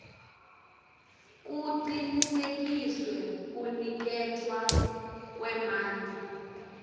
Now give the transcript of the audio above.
kucinisekiswe kuniketwa kwemandla